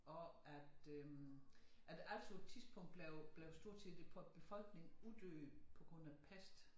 Og at øh at Als på et tidspunkt blev blev stort set på æ befolkning uddøde på grund af pest